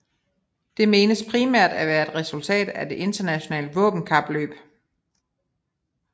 Det menes primært at være et resultat af det internationale våbenkapløb